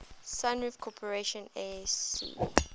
sunroof corporation asc